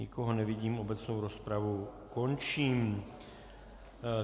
Nikoho nevidím, obecnou rozpravu končím.